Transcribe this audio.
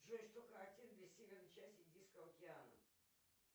джой что характерно для северной части индийского океана